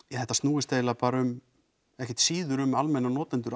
þetta snúist eiginlega bara um ekkert síður um almenna notendur